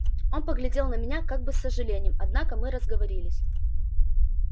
он поглядел на меня как бы с сожалением однако мы разговорились